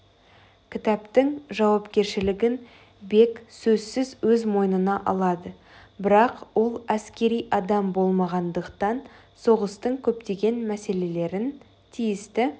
кітаптың жауапкершілігін бек сөзсіз өз мойнына алады бірақ ол әскери адам болмағандықтан соғыстың көптеген мәселелерін тиісті